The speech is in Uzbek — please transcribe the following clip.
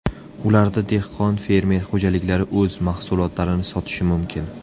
Ularda dehqon-fermer xo‘jaliklari o‘z mahsulotlarini sotishi mumkin.